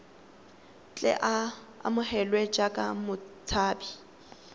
tle a amogelwe jaaka motshabi